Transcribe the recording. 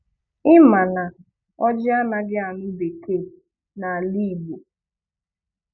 Ị ma na ọ́jị anaghị anụ bekee n'ala Igbo?